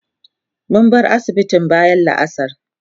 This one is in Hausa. mun bar asibitin bayan la'asar